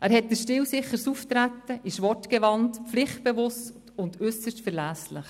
Er hat ein stilsicheres Auftreten, ist wortgewandt, pflichtbewusst und äusserst verlässlich.